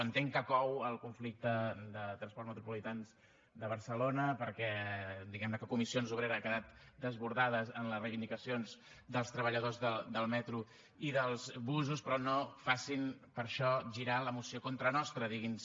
entenc que cou el conflicte de transports metropolitans de barcelona perquè diguem ne comissions obreres ha quedat desbordada amb les reivindicacions dels treballadors del metro i dels busos però no facin per això girar la moció contra nostre digui’ns